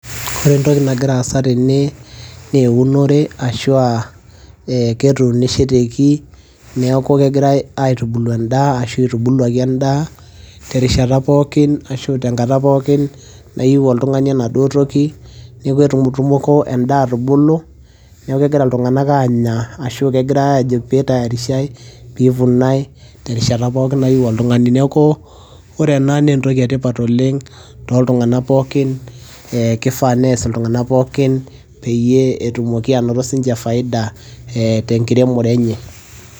ore entoki nagira aasa tene neunore ashua eh, ketunishoteki niaku kegirae aitubulu endaa ashu itubuluaki endaa terishata pookin ashu tenkata pookin nayieu oltung'ani enaduo toki neku etumtumoko endaa atubulu neeku kegira iltung'anak anya ashu kegirae ajo pitayarishae pivunae terishata pookin nayieu oltung'ani neku ore ena naa entoki etipat oleng toltung'anak pookin eh, kifaa nees iltung'anak pookin peyie etumoki anoto sinche faida eh, tenkiremore enye.